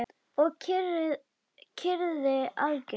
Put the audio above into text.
Og kyrrðin algjör.